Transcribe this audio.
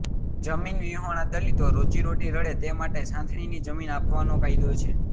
જમીન વિહોણા દલિતો રોજી રોટી રળે તે માટે સાંથણીની જમીન આપવાનો કાયદો છે